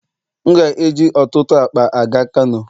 M ga-eji ọtụtụ akpa aga Kano.